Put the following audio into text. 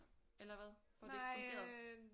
Eller hvad? Hvor det ikke fungerede